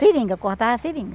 Seringa, cortava seringa.